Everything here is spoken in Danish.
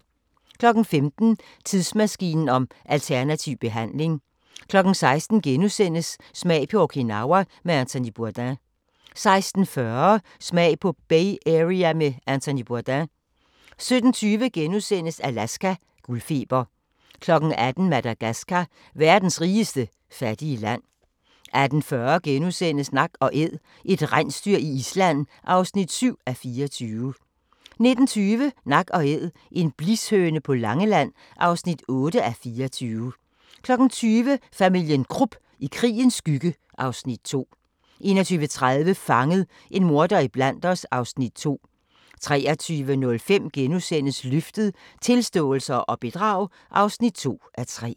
15:00: Tidsmaskinen om alternativ behandling 16:00: Smag på Okinawa med Anthony Bourdain * 16:40: Smag på Bay Area med Anthony Bourdain 17:20: Alaska – guldfeber * 18:00: Madagascar – verdens rigeste fattige land 18:40: Nak & Æd – et rensdyr i Island (7:24)* 19:20: Nak & æd - en blishøne på Langeland (8:24) 20:00: Familien Krupp - i krigens skygge (Afs. 2) 21:30: Fanget – en morder iblandt os (Afs. 2) 23:05: Løftet - Tilståelse og bedrag (2:3)*